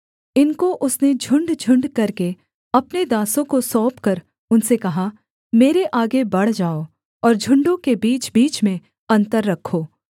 इनको उसने झुण्डझुण्ड करके अपने दासों को सौंपकर उनसे कहा मेरे आगे बढ़ जाओ और झुण्डों के बीचबीच में अन्तर रखो